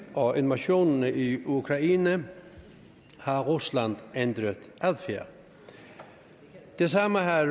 og invasionen i ukraine har rusland ændret adfærd det samme har